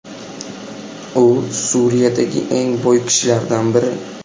U Suriyadagi eng boy kishilardan biri.